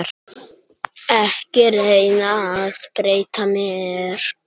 Ekki reyna að breyta mér.